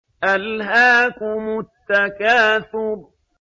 أَلْهَاكُمُ التَّكَاثُرُ